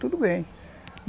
Tudo bem.